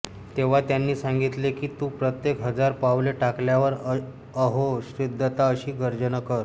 तेव्हा त्यांनी सांगितले की तू प्रत्येक हजार पावले टाकल्यावर अहो श्रीदत्ता अशी गर्जना कर